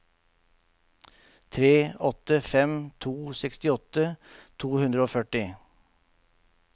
tre åtte fem to sekstiåtte to hundre og førti